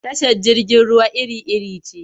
Tashar jirgin ruwa iri-iri ce.